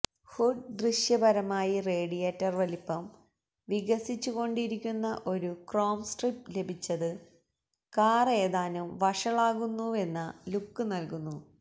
hood ദൃശ്യപരമായി radiator വലിപ്പം വികസിച്ചുകൊണ്ടിരിക്കുന്ന ഒരു ക്രോം സ്ട്രിപ്പ് ലഭിച്ചത് കാർ ഏതാനും വഷളാകുന്നുവെന്ന ലുക്ക് നൽകുന്നു